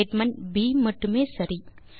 statement ப் மட்டுமே சரி